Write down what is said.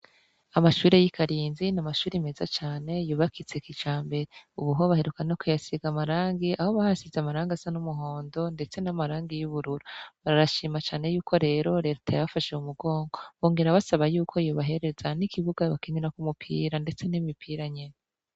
Amashure y'i karinzi, n'amashure meza cane yubakitse kijambere. Ubu hoho baheruka no kuhasiga amarangi aho bayasize amarangi asa n'umuhondo ndetse n'amarangi asa n'ubururu. Barashima cane y'uko rero Leta yabafashe mu mugongo. Bongera basaba y'uko yobahereza n'ikibuga bakinirako umupira ndetse n'imipira nyene.